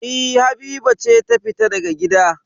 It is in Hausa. E, Habiba ce ta fita daga gida.